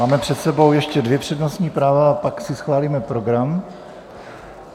Máme před sebou ještě dvě přednostní práva a pak si schválíme program.